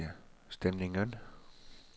stemningen